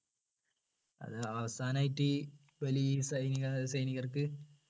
അത് അവസാനമായിട്ട് ഈ വലിയ് സൈനിക സൈനികർക്ക്